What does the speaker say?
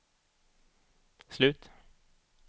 slut